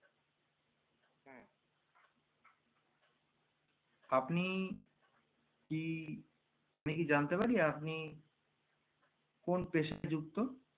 আপনি কি আমি কি জানতে পারি আপনি কোন পেশায় যুক্ত